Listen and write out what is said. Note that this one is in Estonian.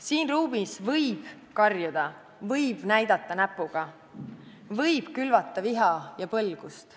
Siin ruumis võib karjuda, võib näidata näpuga, võib külvata viha ja põlgust.